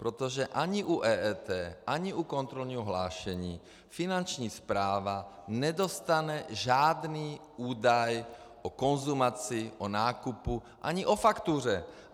Protože ani u EET ani u kontrolního hlášení Finanční správa nedostane žádný údaj o konzumaci, o nákupu ani o faktuře.